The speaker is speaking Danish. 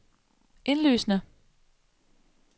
indlysende